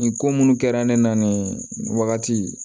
Nin ko munnu kɛra ne na nin wagati